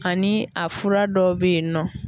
Ani a fura dɔ bɛ yen nɔ.